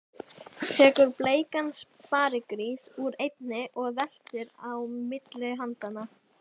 Tekur bleikan sparigrís úr einni og veltir á milli handanna.